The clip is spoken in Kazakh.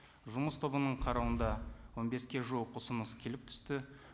жұмыс тобының қарауында он беске жуық ұсыныс келіп түсті